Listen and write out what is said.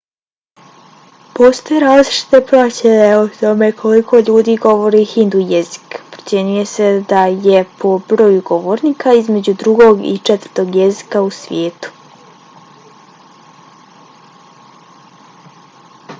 postoje različite procjene o tome koliko ljudi govori hindu jezik. procjenjuje se da je po broju govornika između drugog i četvrtog jezika u svijetu